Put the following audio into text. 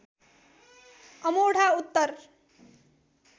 Amodha Uttar